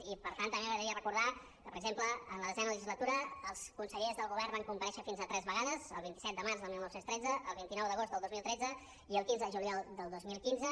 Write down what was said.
i per tant també m’agradaria recordar que per exemple en la desena legislatura els consellers del govern van comparèixer fins a tres vegades el vint set de març del dos mil tretze el vint nou d’agost del dos mil tretze i el quinze de juliol del dos mil quinze